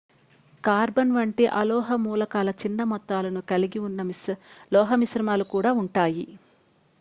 carbon వంటి అలోహ మూలకాల చిన్న మొత్తాలను కలిగి ఉన్న లోహమిశ్రమాలు కూడా ఉంటాయి